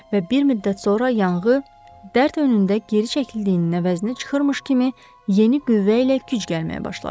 Və bir müddət sonra yanğı, dərd önündə geri çəkildiyinin əvəzinə çıxırmış kimi yeni qüvvə ilə güc gəlməyə başladı.